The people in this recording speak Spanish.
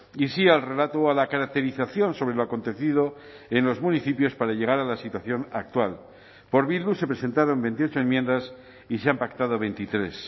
y sí al relato o a la caracterización sobre lo acontecido en los municipios para llegar a la situación actual por bildu se presentaron veintiocho enmiendas y se han pactado veintitrés